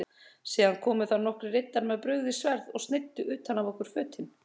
Síðan komu þar nokkrir riddarar með brugðin sverð og sneiddu utan af okkur fötin.